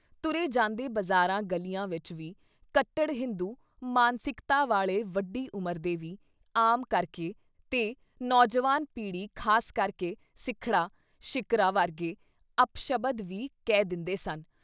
“ਤੁਰੇ ਜਾਂਦੇ ਬਜ਼ਾਰਾਂ ਗਲ਼ੀਆਂ ਵਿੱਚ ਵੀ ਕੱਟੜ ਹਿੰਦੂ ਮਾਨਸਿਕਤਾ ਵਾਲ਼ੇ ਵੱਡੀ ਉਮਰ ਦੇ ਵੀ, ਆਮ ਕਰਕੇ ਤੇ ਨੌਜਵਾਨ ਪੀੜ੍ਹੀ ਖਾਸ ਕਰਕੇ ਸਿੱਖੜਾ, ਸ਼ਿਕਰਾ ਵਰਗੇ ਅਪਸ਼ਬਦ ਵੀ ਕਹਿ ਦਿੰਦੇ ਸਨ।